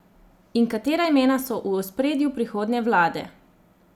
In katera imena so v ospredju prihodnje vlade?